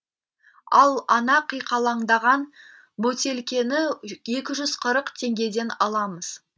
ал ана қиқалаңдаған бөтелкені екі жүз қырық теңгеден аламыз